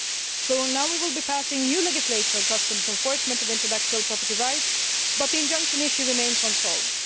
So now we will be passing new legislation on customs enforcement of intellectual property rights, but the injunction issue remains unsolved.